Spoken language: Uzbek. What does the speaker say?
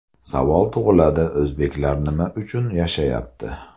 Savol tug‘iladi o‘zbeklar nima uchun yashayapti?